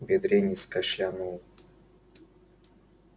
бедренец кашлянул